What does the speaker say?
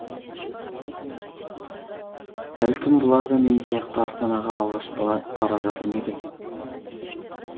бәлкім бұлар да мен сияқты астанаға алғаш бара жатыр ма екен